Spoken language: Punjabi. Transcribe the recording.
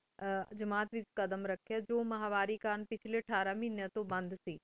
ਆਯ ਜਮਾਤ ਵੇਚ ਕਦਮ ਰਾਖੀ ਟੀ ਮਹ੍ਵਾਰੀ ਕੰਟਕ ਪਿਛਲੀ ਅਥਾਰ ਮਹੇਨ੍ਯ ਤੂੰ ਬੰਦ